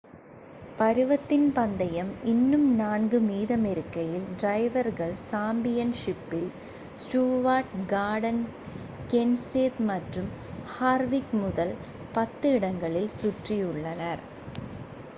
பருவத்தின் பந்தயம் இன்னும் நான்கு மீதமிருக்கையில் டிரைவர்கள் சாம்பியன் ஷிப்பில் ஸ்டூவர்ட் கார்டன் கென்செத் மற்றும் ஹார்விக் முதல் பத்து இடங்களில் சுற்றியுள்ளனர்